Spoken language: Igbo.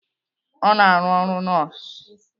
Ọ na-arụ ọrụ nọọsụ.